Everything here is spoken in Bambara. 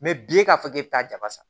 bi e k'a fɔ k'e bi taa jaba san